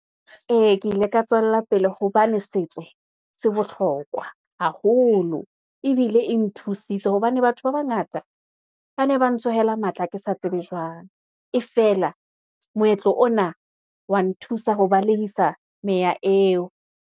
Ee, ke ile ka tswella pele hobane setso, se bohlokwa haholo, ebile e nthusitse hobane batho ba bangata, ba ne ba ntswela matla, ke sa tsebe jwang e feela moetlo ona wa nthusa ho balehisa meya eo.